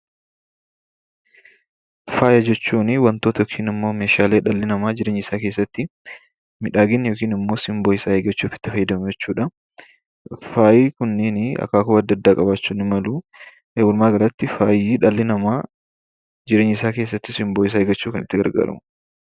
Faaya jechuun wantoota yookiin meeshaalee dhalli namaa jireenya isaa keessatti miidhagina yookaan simboo isaanii ittiin eeggachuuf itti fayyadaman jechuudha. Faayi kunniin akaakuu adda addaa qabaachuu dan. Walumaa galatti faayi, dhalli namaa simboo isaa eeggachuuf kan itti fayyadamanidha.